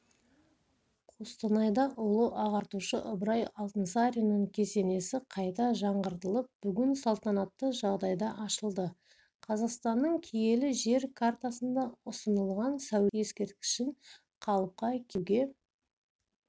қостанайда ұлы ағартушы ыбырай алтынсариннің кесенесі қайта жаңғыртылып бүгін салтанатты жағдайда ашылды қазақстанның киелі жер картасына ұсынылған сәулет ескерткішін қалыпқа келтіруге